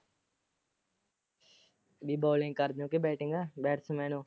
ਬਈ bowling ਕਰਦੇ ਹੋ ਕੇ batsman ਹੋ।